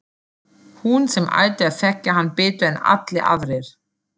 Hún sem ætti að þekkja hann betur en allir aðrir.